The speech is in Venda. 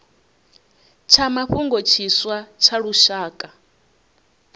tsha mafhungo tshiswa tsha lushaka